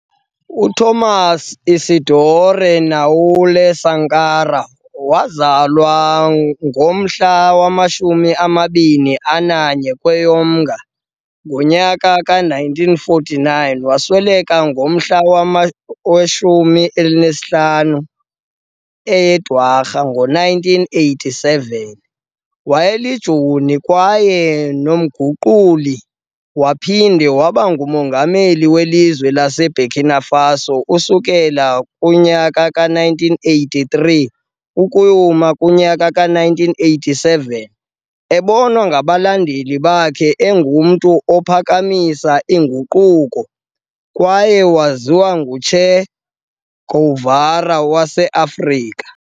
uThomas Isidore Noël Sankara wazalwa ngowe 21 eye-Mnga 1949 wasweleka ngomhla we 15 eye-Dwarha 1987 wayeli joni kanye nomguquli waphinda wabangu mongameli welizwe lase Burkina Faso usukela kowe 1983 - 1987, ebonwa ngabalandeli bakhe engumntu ophakamisa inguquko, kwaye waziwa engu Che Guevara wase Africa